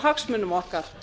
hagsmunum okkar